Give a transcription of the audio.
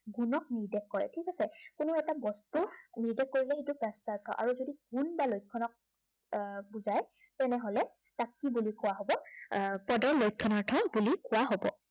গুণক নিৰ্দেশ কৰে ঠিক আছে। কোনো এটা বস্তুৰ নিৰ্দেশ কৰিবলৈ যিটো বাচ্য়াৰ্থ আৰু যদি গুণ বা লক্ষণক আহ বুজায় তেনেহ'লে তাক কি বুলি কোৱা হ'ব, আহ পদৰ লক্ষণাৰ্থ বুলি কোৱা হব।